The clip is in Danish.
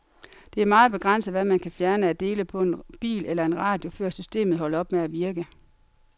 Det er meget begrænset, hvad man kan fjerne af dele på en bil eller en radio, før systemet holder op med at virke.